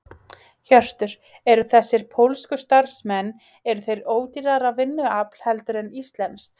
Hjörtur: Eru þessir pólsku starfsmenn, eru þeir ódýrara vinnuafl heldur en íslenskt?